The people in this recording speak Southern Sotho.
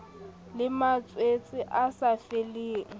le malwetse a sa feleng